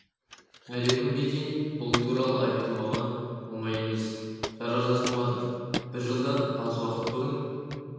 әлі күнге дейін бұл туралы айту маған оңай емес жара жазылмады бір жылдан аз уақыт бұрын